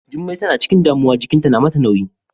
Jummai tana ciƙin damuwa jiƙinta na mata nauyi.